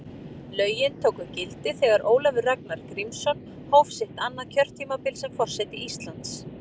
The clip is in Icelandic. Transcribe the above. Lögin tóku gildi þegar Ólafur Ragnar Grímsson hóf sitt annað kjörtímabil sem forseti Íslands.